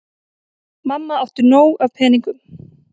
Mamma átti nóg af peningum.